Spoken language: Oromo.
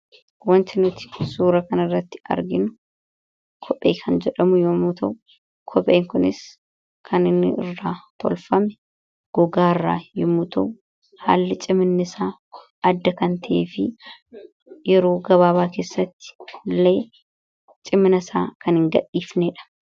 Wanti nuti suura irratti arginu kophee yoo ta'u, kopheen kunis kan inni irraa tolfame gogaa irraa yeroo ta'u, haalli cimina isaa adda kan ta'eefi yeroo gabaabaa keessatti illee cimina isaa kan hingadhisnedha.